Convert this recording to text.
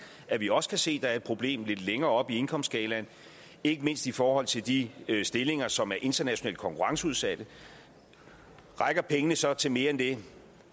at vi også kan se at der er et problem lidt længere oppe i indkomstskalaen ikke mindst i forhold til de stillinger som er internationalt konkurrenceudsatte rækker pengene så til mere end det